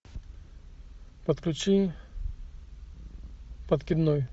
подключи подкидной